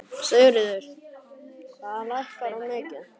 Sigríður: Hvað lækkar hún mikið?